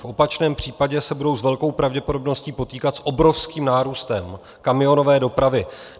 V opačném případě se budou s velkou pravděpodobností potýkat s obrovským nárůstem kamionové dopravy.